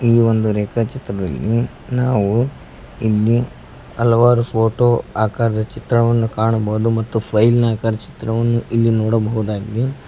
ಈ ಒಂದು ರೇಖಾ ಚಿತ್ರದಲ್ಲಿ ನಾವು ಇಲ್ಲಿ ಹಲವಾರು ಫೋಟೋ ಆಕಾರದ ಚಿತ್ರವನ್ನು ಕಾಣಬಹುದು ಮತ್ತು ಫೈಲ್ ನ ಆಕಾರದ ಚಿತ್ರವನ್ನು ಇಲ್ಲಿ ನೋಡಬಹುದಾಗಿದೆ.